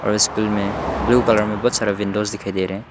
और स्कूल मे blue colour मे बहुत सारा विंडोस दिखाई दे रहा है।